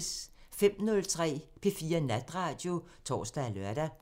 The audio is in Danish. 05:03: P4 Natradio (tor og lør)